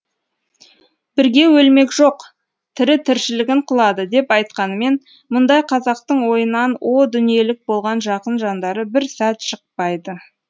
бірге өлмек жоқ тірі тіршілігін қылады деп айтқанымен мұндай қазақтың ойынан о дүниелік болған жақын жандары бір сәт шықпайды